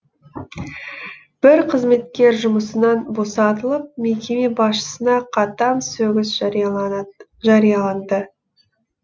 бір қызметкер жұмысын босатылып мекеме басшысына қатаң сөгіс жарияланды